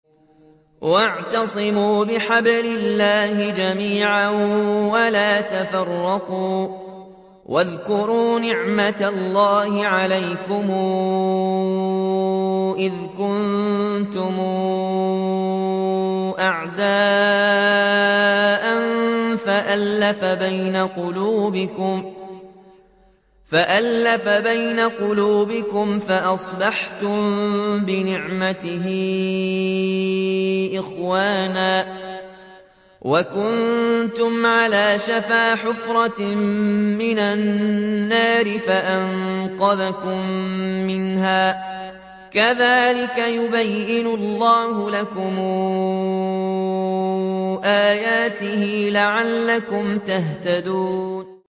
وَاعْتَصِمُوا بِحَبْلِ اللَّهِ جَمِيعًا وَلَا تَفَرَّقُوا ۚ وَاذْكُرُوا نِعْمَتَ اللَّهِ عَلَيْكُمْ إِذْ كُنتُمْ أَعْدَاءً فَأَلَّفَ بَيْنَ قُلُوبِكُمْ فَأَصْبَحْتُم بِنِعْمَتِهِ إِخْوَانًا وَكُنتُمْ عَلَىٰ شَفَا حُفْرَةٍ مِّنَ النَّارِ فَأَنقَذَكُم مِّنْهَا ۗ كَذَٰلِكَ يُبَيِّنُ اللَّهُ لَكُمْ آيَاتِهِ لَعَلَّكُمْ تَهْتَدُونَ